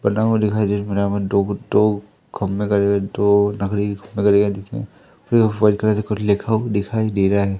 बना हुआ दिखाई दे रहा है कुछ लिखा हुआ दिखाई दे रहा है।